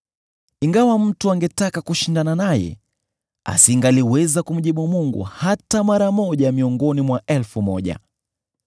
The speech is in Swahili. Ingawa mtu angetaka kushindana naye, asingaliweza kumjibu Mungu hata mara moja miongoni mwa elfu moja.